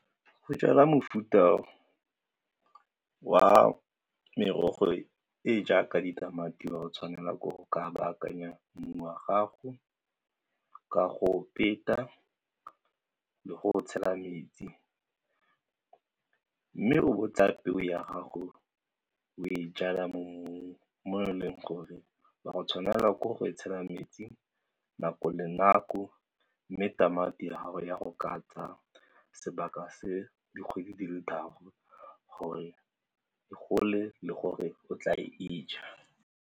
Go jala mofuta wa merogo e e jaaka ditamati wa go tshwanela ke go ka baakanya mmu wa gago ka go peta le go tshela metsi mme o bo o tsaya peo ya gago o e jalwa mo e leng gore o a go tshwanelwa ke go e tshela metsi nako le nako mme tamati ya gago ya go ka tsa sebaka se dikgwedi di le tharo gore e gole le gore o tla e ja.